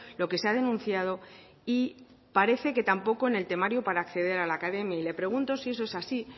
lo que se ha denunciado y parece que tampoco en el temario para acceder a la academia le pregunto si eso es así